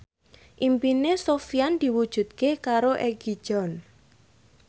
impine Sofyan diwujudke karo Egi John